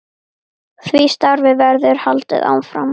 Því starfi verður haldið áfram.